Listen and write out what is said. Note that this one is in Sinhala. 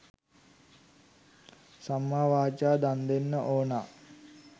සම්මාවාචා දන්දෙන්න ඕන